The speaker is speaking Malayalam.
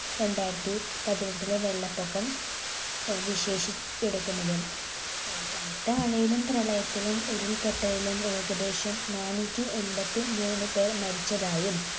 രണ്ടായിരത്തി പതിനെട്ടിലെ വെള്ളപ്പൊക്കം ഏർ വിശേഷ എടുക്കുന്നത്. കനത്ത മഴയിലും, പ്രളയത്തിലും ഉരുൾപൊട്ടലിലും ഏകദേശം നാനൂറ്റി എൺപത്തിമൂന്ന് പേർ മരിച്ചതായും